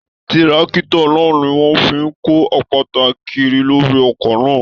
Tírákítọ̀ náà ní wọn fí n kò àpáta kíri lórí oko náà.